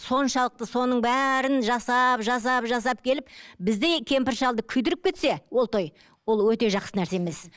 соншалықты соның бәрін жасап жасап жасап келіп біздей кемпір шалды күйдіріп кетсе ол той ол өте жақсы нәрсе емес